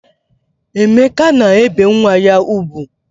Emeka na-ebe nwa ya ugwu